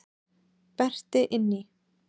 Berti inn í.